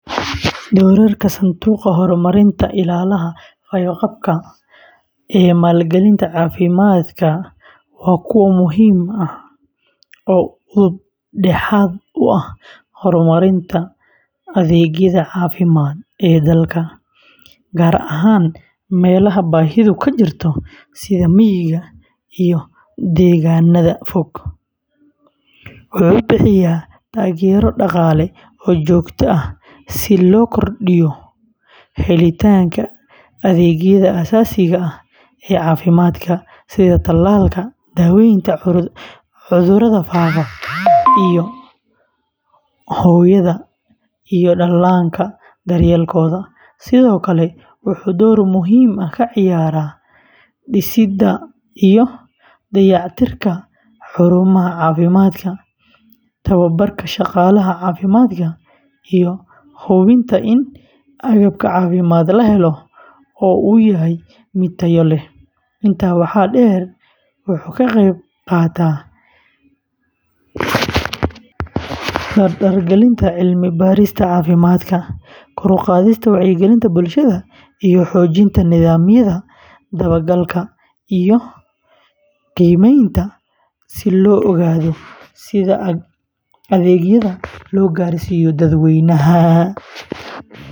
Doorarka Sanduuqa Horumarinta Illaaha Fayoqabka ee maalgelinta caafimaadka waa kuwo muhiim ah oo udub dhexaad u ah horumarinta adeegyada caafimaad ee dalka, gaar ahaan meelaha baahidu ka jirto sida miyiga iyo deegaannada fog. Wuxuu bixiyaa taageero dhaqaale oo joogto ah si loo kordhiyo helitaanka adeegyada aasaasiga ah ee caafimaadka, sida talaalka, daaweynta cudurrada faafa, iyo hooyada iyo dhallaanka daryeelkooda. Sidoo kale, wuxuu door muhiim ah ka ciyaaraa dhisidda iyo dayactirka xarumaha caafimaadka, tababarka shaqaalaha caafimaadka, iyo hubinta in agabka caafimaad la helo oo uu yahay mid tayo leh. Intaa waxaa dheer, wuxuu ka qeyb qaataa dardargelinta cilmi-baarista caafimaadka, kor u qaadista wacyigelinta bulshada, iyo xoojinta nidaamyada dabagalka iyo qiimaynta si loo ogaado sida adeegyada loo gaarsiiyo dadweynaha.